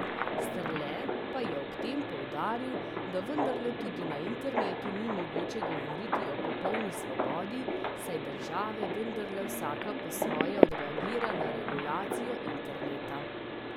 Strle pa je ob tem poudaril, da vendarle tudi na internetu ni mogoče govoriti o popolni svobodi, saj države vendarle vsaka po svoje odreagira na regulacijo interneta.